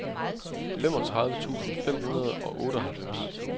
femogtredive tusind fem hundrede og otteoghalvfems